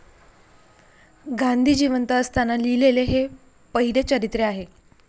गांधी जिवंत असताना लिहिलेले हे पहिले चरित्र आहे.